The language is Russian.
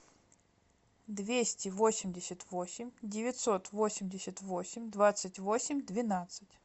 двести восемьдесят восемь девятьсот восемьдесят восемь двадцать восемь двенадцать